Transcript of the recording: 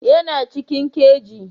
Yana cikin kaji